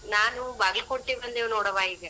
ನಾನು ಬಾಗಲಕೋಟಿ ಬಂದೇವ್ ನೋಡವ್ವಾ ಈಗ.